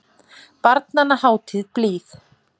Barnanna hátíð blíð.